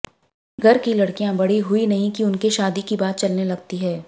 घर की लड़कियां बड़ी हुई नहीं की उनके शादी की बात चलने लगती है